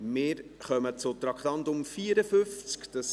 Wir kommen zum Traktandum 54.